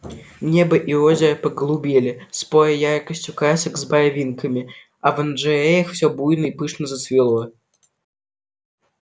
небо и озеро поголубели споря яркостью красок с барвинками а в оранжереях все буйно и пышно зацвело